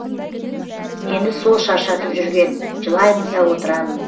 мені сол шаршатып жүрген жылаймын да отырамын